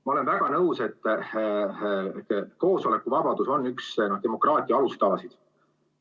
Ma olen väga nõus, et koosolekuvabadus on üks demokraatia alustalasid.